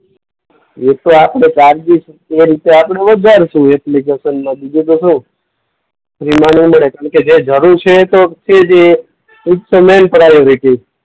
એ તો આપણે રીતે આપણે વધારશું એપ્લિકેશનને. બીજું તો શું? ફ્રીમાં નહીં મળે. કેમ કે જે જરૂર છે એ જ તો મેઈન પ્રાયોરિટી.